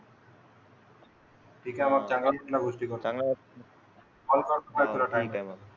ठीक आहे मग चांगला वाटला गोष्टी करून. कॉल करतो मग तुला